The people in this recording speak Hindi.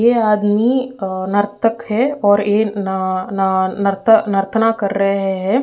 यह आदमी अ नर्तक है और ये न न नर्तना कर रहे है।